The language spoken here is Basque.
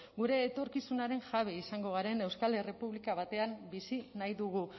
gure etorkizunaren jabe izango garen euskal errepublika batean bizi nahi dugu